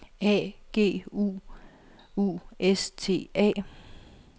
A U G U S T A